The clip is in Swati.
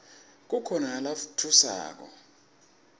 kukhona nalatfusako